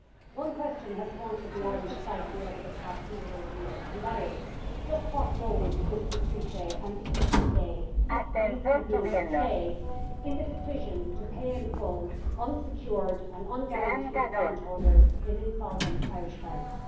One question has haunted the Irish psyche over the past number of years and that is just what role did Mr Trichet and the ECB play in the decision to pay, in full, unsecured and unguaranteed bondholders in insolvent Irish banks.